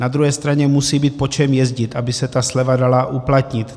Na druhé straně musí být po čem jezdit, aby se ta sleva dala uplatnit.